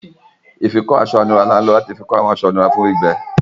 Ifikọ aṣọ-inura ni a ń lo lati fikọ awọn aṣọ inura fun gbigbe.